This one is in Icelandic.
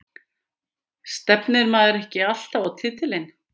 Stefnir maður ekki alltaf á titilinn?